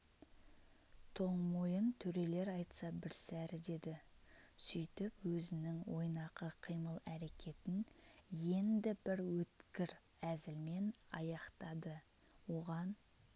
тоңмойын төрелер айтса бірсәрі деді сөйтіп өзінің ойнақы қимыл әрекетін енді бір өткір әзілмен аяқтады оған